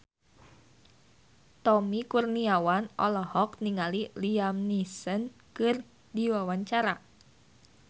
Tommy Kurniawan olohok ningali Liam Neeson keur diwawancara